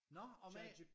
Nå om A?